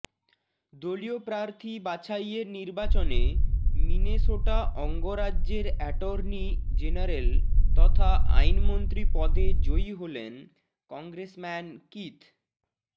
দলীয় প্রার্থী বাছাইয়ের নির্বাচনে মিনেসোটা অঙ্গরাজ্যের অ্যাটর্নি জেনারেল তথা আইনমন্ত্রী পদে জয়ী হলেন কংগ্রেসম্যান কিথ